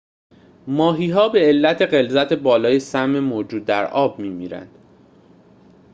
ماهی‌ها به علت غلظت بالای سم موجود در آب می‌میرند